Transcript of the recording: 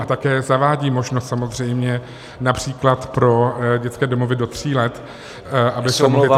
A také zavádí možnost samozřejmě například pro dětské domovy do tří let, aby se mohly transformovat -